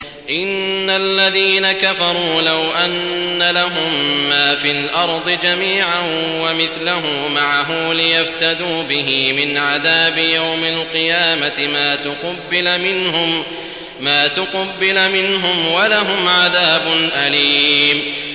إِنَّ الَّذِينَ كَفَرُوا لَوْ أَنَّ لَهُم مَّا فِي الْأَرْضِ جَمِيعًا وَمِثْلَهُ مَعَهُ لِيَفْتَدُوا بِهِ مِنْ عَذَابِ يَوْمِ الْقِيَامَةِ مَا تُقُبِّلَ مِنْهُمْ ۖ وَلَهُمْ عَذَابٌ أَلِيمٌ